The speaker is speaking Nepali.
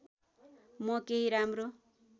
म केही राम्रो